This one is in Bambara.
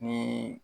Ni